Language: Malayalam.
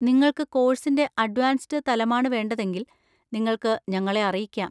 നിങ്ങൾക്ക് കോഴ്‌സിന്‍റെ അഡ്വാൻസ്ഡ് തലമാണ് വേണ്ടതെങ്കിൽ, നിങ്ങൾക്ക് ഞങ്ങളെ അറിയിക്കാം.